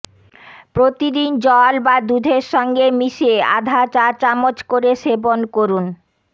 প্রতিদিন জল বা দুধের সঙ্গে মিশিয়ে আধা চা চামচ করে সেবন করুন